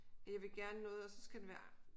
At jeg vil gerne noget og så skal det være